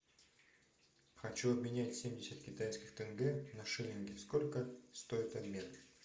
хочу обменять семьдесят китайских тенге на шиллинги сколько стоит обмен